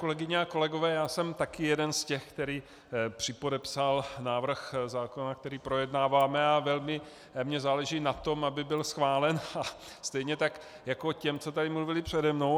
Kolegyně a kolegové, já jsem taky jeden z těch, který připodepsal návrh zákona, který projednáváme, a velmi mi záleží na tom, aby byl schválen, a stejně tak jako těm, co tady mluvili přede mnou.